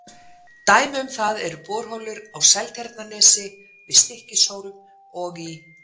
Dæmi um það eru borholur á Seltjarnarnesi, við Stykkishólm og í